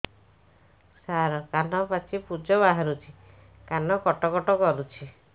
ସାର କାନ ପାଚି ପୂଜ ବାହାରୁଛି କାନ କଟ କଟ କରୁଛି